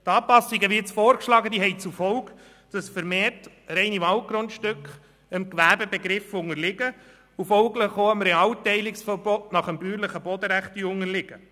Die vorgeschlagenen Anpassungen haben zur Folge, dass vermehrt reine Waldgrundstücke dem Gewerbebegriff und folglich auch dem Realteilungsverbot nach bäuerlichem Bodenrecht unterliegen.